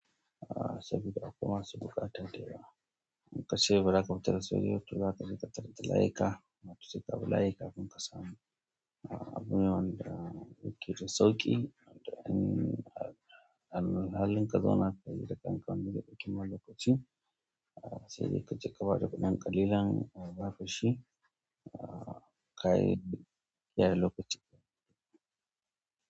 Ah, sabida akawai masu buƙata da yawa inkace bazaka bi tanan ba to zakaje ka tarar da layika seka hau layi kafin ka samu abune wanda yake dasauki. An halinka zona kai da kanka wani lokaci lokaci. Ah, sai dai kaje ka bada kudan ƙalilan a baka shi. Ah, ai ya lokaci.